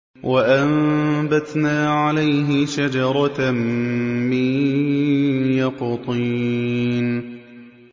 وَأَنبَتْنَا عَلَيْهِ شَجَرَةً مِّن يَقْطِينٍ